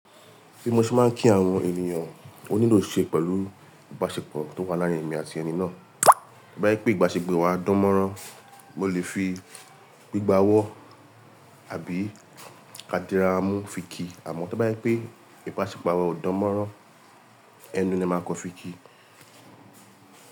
Bí mo ṣe máa ń kí àwọn ènìyàn onílò ṣe pẹ̀lú ìbáṣepọ̀ tó wà láàárín èmi àti ẹni náà. Ba e pé ìbáṣepọ̀ wa dánmọ́rán, mo lè fi gbígbà ọwọ́ àbí ká diramu fi ki. Àmọ́ tó bá ẹ pé ìbáṣepọ̀ wa ò dánmọ́rán, ẹnu ni máa kan fi ki.